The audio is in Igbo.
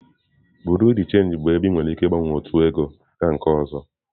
Bureau de change bụ ebe ị nwere ike ịgbanwe otu ego gaa na nke ọzọ.